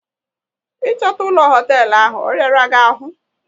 Ị chọta ụlọ hoteelu ahụ, ọ ghara gị ahụ?